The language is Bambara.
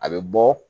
A bɛ bɔ